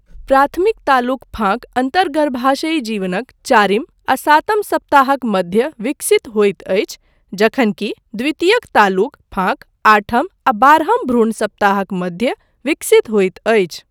प्राथमिक तालुक फाँक अन्तर्गर्भाशयी जीवनक चारिम आ सातम सप्ताहक मध्य विकसित होइत अछि जखनकि द्वितीयक तालुक फाँक आठम आ बारहम भ्रूण सप्ताहक मध्य विकसित होइत अछि।